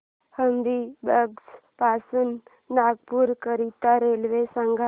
हबीबगंज पासून नागपूर करीता रेल्वे सांगा